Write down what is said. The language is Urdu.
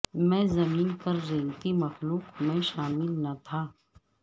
میں زمین پر رینگتی مخلوق میں شامل نہ تھا